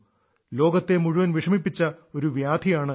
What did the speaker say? ലോകത്തെ മുഴുവൻ വിഷമിപ്പിച്ച ഒരു വ്യാധിയാണിത്